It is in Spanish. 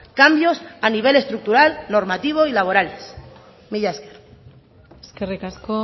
cambios a nivel estructural normativo y laborales mila esker eskerrik asko